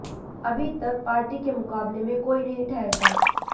अभी तक पार्टी के मुकाबले में कोई नहीं ठहरता